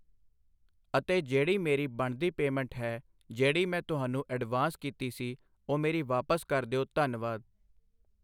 ਅਤੇ ਜਿਹੜੀ ਮੇਰੀ ਬਣਦੀ ਪੇਅਮੈਂਟ ਹੈ ਜਿਹੜੀ ਮੈਂ ਤੁਹਾਨੂੰ ਅਡਵਾਂਸ਼ ਕੀਤੀ ਸੀ ਉਹ ਮੇਰੀ ਵਾਪਸ ਕਰ ਦਿਉ ਧੰਨਵਾਦ।